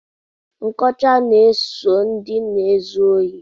Nkọcha na-eso ndị na-ezu ohi.